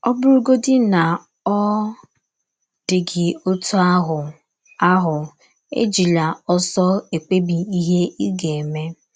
Ọ bụrụgọdị na ọ dị gị ọtụ ahụ, ahụ, ejila ọsọ ekpebi ihe ị ga - eme.